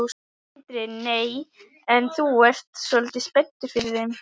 Sindri: Nei, en þú ert svolítið spenntur fyrir þeim?